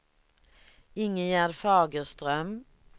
Ingegerd Fagerström